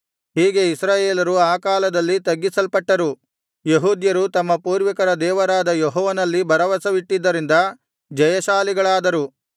ಹೀಗೆ ಇಸ್ರಾಯೇಲರು ಆ ಕಾಲದಲ್ಲಿ ತಗ್ಗಿಸಲ್ಪಟ್ಟರು ಯೆಹೂದ್ಯರು ತಮ್ಮ ಪೂರ್ವಿಕರ ದೇವರಾದ ಯೆಹೋವನಲ್ಲಿ ಭರವಸವಿಟ್ಟಿದ್ದರಿಂದ ಜಯಶಾಲಿಗಳಾದರು